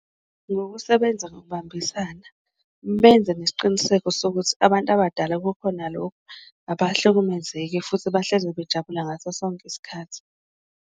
Ngokusebenza ngokubambisana benze nesiqiniseko sokuthi abantu abadala kukhona lokhu, abahlukumezeki futhi bahlezi bejabula ngaso sonke isikhathi.